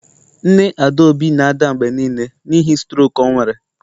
Nne adaobi na-ada mgbe nile n'ihi strok o nwere